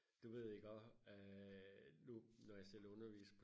du ved iggå øh nu når jeg selv underviser